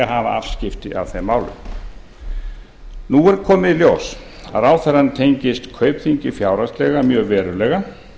afskipti af þeim málum nú er komið í ljós að ráðherrann tengist kaupþingi fjárhagslega mjög verulega